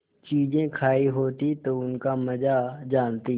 चीजें खायी होती तो उनका मजा जानतीं